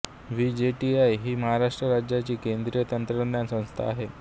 VJTI ही महाराष्ट्र राज्याची केंद्रीय तंत्रज्ञान संस्था आहे